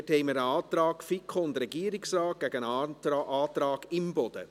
Hier haben wir einen Antrag FiKo und Regierungsrat gegen einen Antrag Imboden.